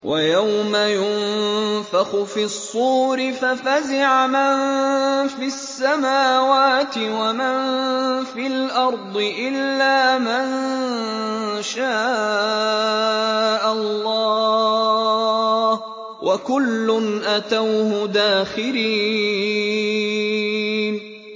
وَيَوْمَ يُنفَخُ فِي الصُّورِ فَفَزِعَ مَن فِي السَّمَاوَاتِ وَمَن فِي الْأَرْضِ إِلَّا مَن شَاءَ اللَّهُ ۚ وَكُلٌّ أَتَوْهُ دَاخِرِينَ